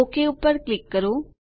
okay ઉપર click કરો